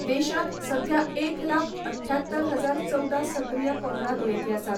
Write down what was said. देशांत सध्या एक लाख अट्ठ्यात्तर हजार चवदा सक्रीय कोरोना दुयेंती आसात.